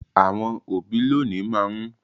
Àwon òbí lònìí má n